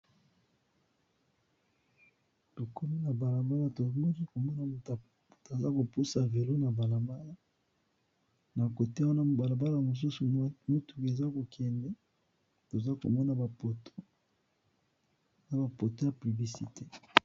Tokomi na balabala tomoki komona mutu aza kopusa velo, na balabala na kote wana ya balabala mosusu motu eza kokende tozomona bapoto ya publicité.